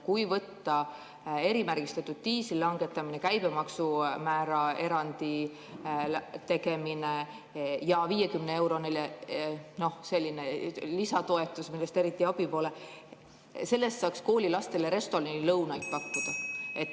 Kui võtta erimärgistatud diisli langetamine, käibemaksumääraerandi tegemine ja 50‑eurone lisatoetus, millest eriti abi pole, siis selle eest saaks koolilastele restoranilõunaid pakkuda.